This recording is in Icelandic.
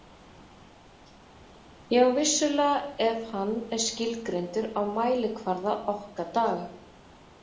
Já, vissulega ef hann er skilgreindur á mælikvarða okkar daga.